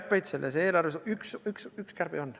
Üks kärbe selles eelarves siiski on.